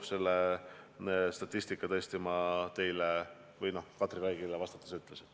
Selle statistika ma aga tõesti Katri Raigile vastates tõin.